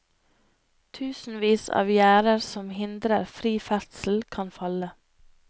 Tusenvis av gjerder som hindrer fri ferdsel, kan falle.